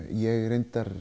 ég